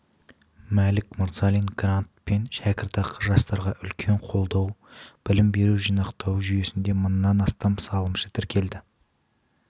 мәлік мырзалин грант пен шәкіртақы жастарға үлкен қолдау білім беру жинақтау жүйесінде мыңнан астам салымшы тіркелді